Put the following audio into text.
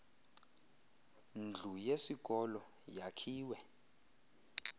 ndlu yesikolo yakhiwe